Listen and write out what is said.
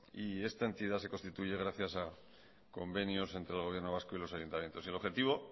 y esta entidad se constituye gracias a convenios entre el gobierno vasco y los ayuntamientos y el objetivo